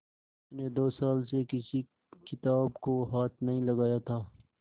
उसने दो साल से किसी किताब को हाथ नहीं लगाया था